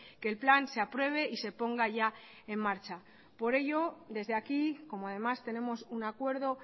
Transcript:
que el plan se apruebe y se ponga ya en marcha por ello desde aquí como además tenemos un acuerdo